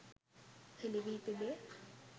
හෙළිවී තිබේ.